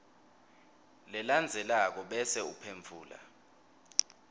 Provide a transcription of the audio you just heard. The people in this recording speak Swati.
lelandzelako bese uphendvula